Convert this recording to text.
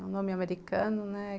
É um nome americano, né?